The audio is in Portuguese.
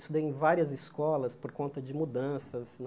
Estudei em várias escolas por conta de mudanças né.